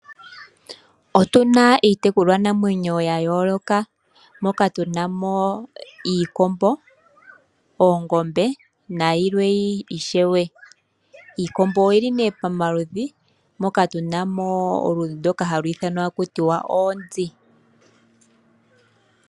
Otuna iitekulwanamwenyo ya yooloka moka tu na mo iikombo, oongombe nayilwe ishewe. Iikombo oyi li nee pamaludhi moka tu na mo oludhi ndoka halu ithanwa oonzi.